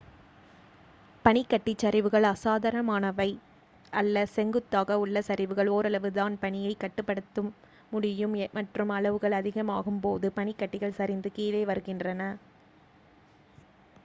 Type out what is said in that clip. பனிக்கட்டிச் சரிவுகள் அசாதாரணமானவை அல்ல செங்குத்தாக உள்ள சரிவுகள் ஓரளவு தான் பனியைக் கட்டுப் படுத்த முடியும் மற்றும் அளவுகள் அதிகமாகும் போது பனிக் கட்டிகள் சரிந்து கீழே வருகின்றன